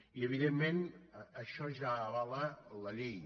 i evidentment això ja avala la llei